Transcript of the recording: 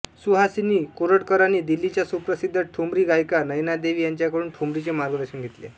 सुहासिनी कोरटकरांनी दिल्लीच्या सुप्रसिद्ध ठुमरी गायिका नैनादेवी यांच्याकडून ठुमरीचे मार्गदर्शन घेतले